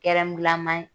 Kɛrɛngulama